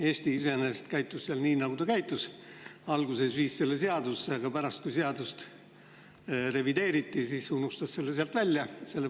Eesti käitus nii, nagu ta käitus: alguses viis vastava punkti seadusse sisse, aga pärast, kui seadust revideeriti, unustas selle sealt välja.